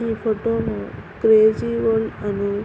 ఈ ఫోటో లో crazy world అని --